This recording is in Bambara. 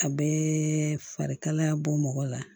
A bɛɛ farikalaya bɔ mɔgɔ la